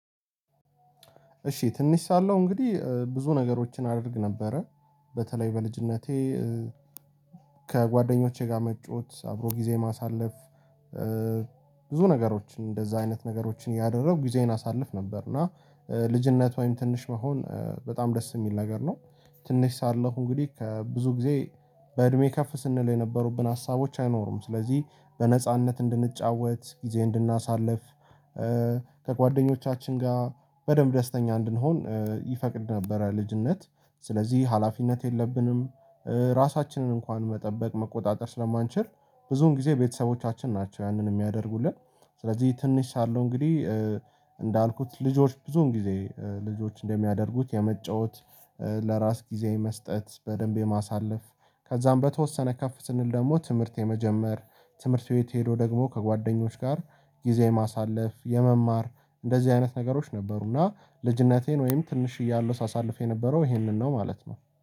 እሺ ትንሽ ሳለሁ እንግዲህ ብዙ ነገሮችን አድርግ ነበረ በተለይ በልጅነቴ ከጓደኞቼ ጋር መጫወት አብሮ ጊዜ ማሳለፍ። ብዙ ነገሮችን እንደዚያ አይነት ነገሮችን እያደረኩ ጊዜዬን አሳልፍ ነበር እና ልጅነት ወይም ትንሽ መሆን በጣም ደስ የሚል ነገር ነው። ትንሽ ሳለሁ እንግዲህ ከብዙ ጊዜ በእድሜ ከፍ ስንል የነበሩብን ሀሳቦች አይኖሩም ስለዚህ በነጻነት እንድንጫወት ጊዜ እንድናሳልፍ ከጓደኞቻችን ጋር በደንብ ደስተኛ እንድንሆን ይፈቅድ ነበር። ልጅነት ስለዚህ ሀላፊነት የለብንም ራሳችንን እንኳን መጠበቅ መቆጣጠር ስለማንችል ብዙውን ጊዜ ቤተሰቦቻችን ናቸው ያንን የሚያደርጉልን። ስለዚህ ትንሽ ሳለው እንግዲህ እንዳልኩት ልጆች ብዙን ጊዜ ልጆች እንደሚያደርጉት የመጫወት ለራስ ጊዜያዊ መስጠት በደንብ የማሳለፍ። ከዚያ በተወሰነ ከፍ ስንል ደግሞ ትምህርት የመጀመር ትምህርት ቤት ሄዶ ደግሞ ከጓደኞች ጋር ጊዜ ማሳለፍ የመማር። እንደዚህ አይነት ነገሮች ነበሩና ልጅነቴን ወይም ትንሽ እያሉ ሳሳልፍ የነበረው ይሄንን ነው ማለት ነው